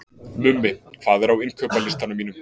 Mummi, hvað er á innkaupalistanum mínum?